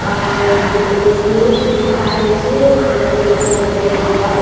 ଆଉ ଜିଓ ସିଓସ୍‌ ଲେଖାହେଇଛେ ସେରେମିନିଙ୍ଗ ସାନିଟାରୀ ୱାର୍ଡ ପାରା--